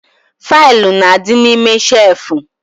Faịlụ n'adi n'ime shelfu